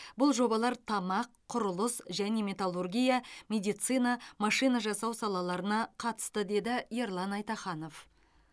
бұл жобалар тамақ құрылыс және металлургия медицина машина жасау салаларына қатысты деді ерлан айтаханов